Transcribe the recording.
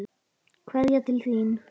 Kveðja til þín.